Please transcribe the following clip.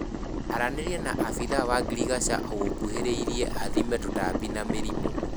Aranĩria na abithaa wa ngirigasha ũgũkuhĩrĩirie athime tũtambi na mĩrimũ